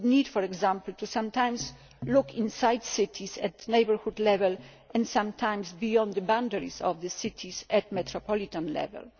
We need, for example, to look sometimes inside cities at neighbourhood level, and sometimes beyond the boundaries of the cities, at metropolitan level.